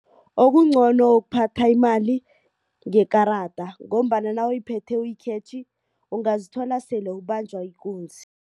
Okungcono kuphatha imali ngekarada ngombana nawuyiphethe uyikhetjhe ungazithola sele ubanjwa ikunzi.